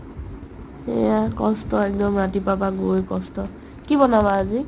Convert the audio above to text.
এয়া কষ্ট একদম ৰাতিপুৱাৰ পৰা গৈ কষ্ট কি বনাবা আজি ?